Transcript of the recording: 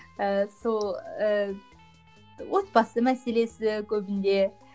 ыыы сол ыыы отбасы мәселесі көбінде